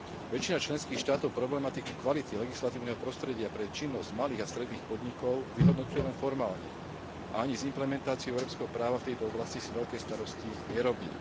Väčšina členských štátov problematiku kvality legislatívneho prostredia pre činnosť malých a stredných podnikov vyhodnocuje len formálne a ani s implementáciou európskeho práva v tejto oblasti si veľké starosti nerobí.